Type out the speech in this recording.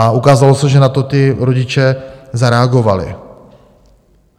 A ukázalo se, že na to ti rodiče zareagovali.